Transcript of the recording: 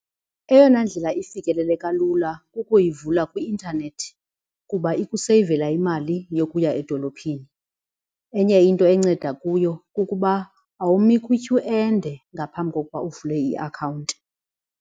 Eyona ndlela ifikeleleka lula kukuyivula kwi-intanethi kuba ikuseyivela imali yokuya edolophini. Enye into enceda kuyo kukuba awumi kwityhu ende ngaphambi kokuba uvule iakhawunti.